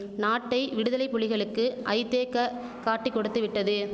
நாட்டை விடுதலை புலிகளுக்கு ஐதேக்க காட்டிக் கொடுத்துவிட்டது